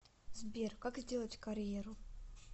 сбер как сделать карьеру